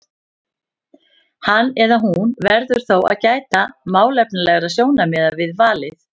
Hann eða hún verður þó að gæta málefnalegra sjónarmiða við valið.